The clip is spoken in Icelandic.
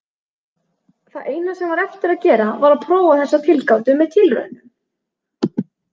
Það eina sem var eftir að gera var að prófa þessa tilgátu með tilraunum.